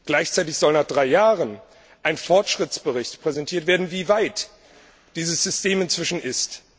Gleichzeitig soll nach drei Jahren ein Fortschrittsbericht präsentiert werden, wie weit dieses System inzwischen ist.